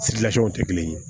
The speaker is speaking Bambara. tɛ kelen ye